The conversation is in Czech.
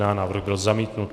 Návrh byl zamítnut.